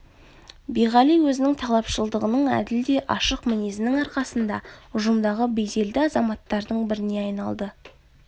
биғали өзінің талапшылдығының әділ де ашық мінезінің арқасында ұжымдағы беделді азаматтардың біріне айналды